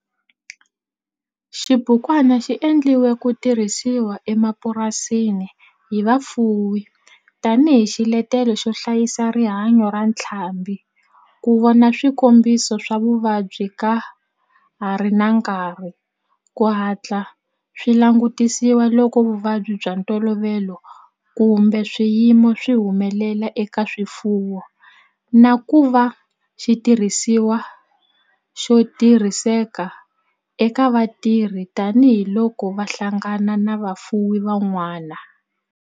Xibukwana xi endliwe ku tirhisiwa emapurasini hi vafuwi tani hi xiletelo xo hlayisa rihanyo ra ntlhambhi, ku vona swikombiso swa vuvabyi ka ha ri na nkarhi ku hatla swi langutisiwa loko vuvabyi bya ntolovelo kumbe swiyimo swi humelela eka swifuwo, na ku va xitirhisiwa xo tirhiseka eka vatirhi tani hi loko va hlangana na vafuwi van'wana.